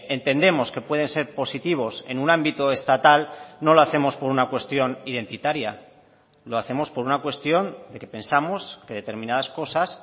entendemos que pueden ser positivos en un ámbito estatal no lo hacemos por una cuestión identitaria lo hacemos por una cuestión de que pensamos que determinadas cosas